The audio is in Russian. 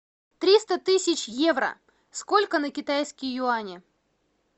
триста тысяч евро сколько на китайские юани